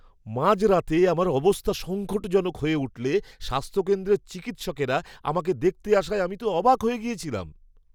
মাঝরাতে আমার অবস্থা সঙ্কটজনক হয়ে উঠলে স্বাস্থ্যকেন্দ্রের চিকিৎসকরা আমাকে দেখতে আসায় আমি তো অবাক হয়ে গেছিলাম!